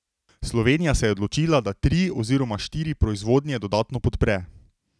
Slovenija se je odločila, da tri oziroma štiri proizvodnje dodatno podpre.